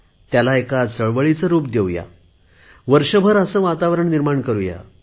त्याला एक चळवळीचे रुप देऊ या वर्षभर असे वातावरण निर्माण करुया